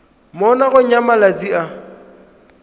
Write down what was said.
mo nakong ya malatsi a